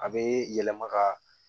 A bɛ yɛlɛma ka